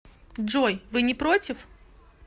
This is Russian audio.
джой вы не против